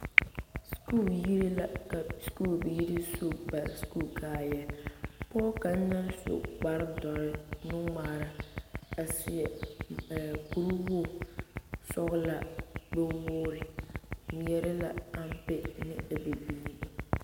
Sukuu yiri la ka sukuubiiri su ba sukuu kaayaa pɔge kaŋa naŋ su kpare dɔre nu-ŋmaara a seɛ kuri wogi sɔgelaa gbɛ-wogiri ŋmeɛrɛ la ampe ane a bibiiri.